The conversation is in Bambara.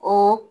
O